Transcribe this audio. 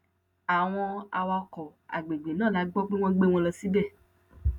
àwọn awakọ àgbègbè náà la gbọ pé wọn gbé wọn lọ síbẹ